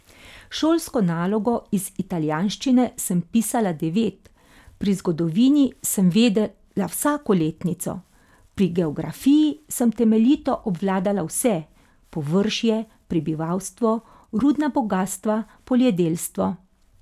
Šolsko nalogo iz italijanščine sem pisala devet, pri zgodovini sem vedela vsako letnico, pri geografiji sem temeljito obvladala vse, površje, prebivalstvo, rudna bogastva, poljedelstvo.